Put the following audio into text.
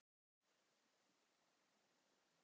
En hver er skýringin?